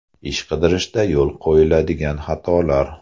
Ish qidirishda yo‘l qo‘yiladigan xatolar.